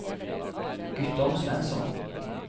Guttorm Svensson